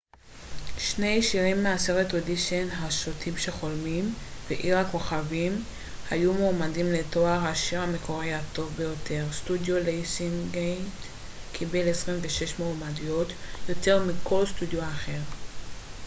שני שירים מהסרט אודישן השוטים שחולמים ועיר הכוכבים היו מועמדים לתואר השיר המקורי הטוב ביותר. סטודיו ליונסגייט קיבל 26 מועמדויות - יותר מכל סטודיו אחר